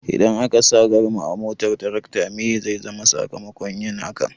Idan akasa garma a motar tarakta meye zai zama sakamakon yin hakan?